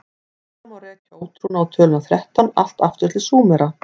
hugsanlega má rekja ótrúna á töluna þrettán allt aftur til súmera